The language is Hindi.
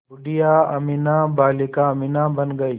बूढ़िया अमीना बालिका अमीना बन गईं